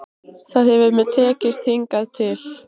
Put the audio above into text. Það hefur mér tekist hingað til.